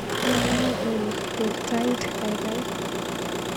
Yamunee Olly, ker tait kaikai.